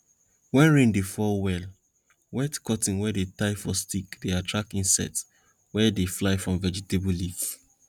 wen rain dey fall well wet cotton wey dey tie for stick dey attract insects wey dey fly from vegetable leaf